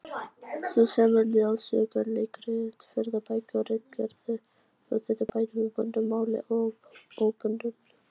Þú semur ljóð, sögur, leikrit, ferðabækur, ritgerðir og þýðir bæði í bundnu máli og óbundnu.